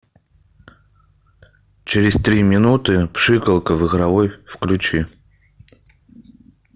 через три минуты пшикалка в игровой включи